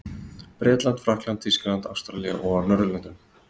Bretlandi, Frakklandi, Þýskalandi, Ástralíu og á Norðurlöndum.